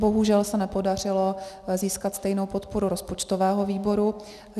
Bohužel se nepodařilo získat stejnou podporu rozpočtového výboru.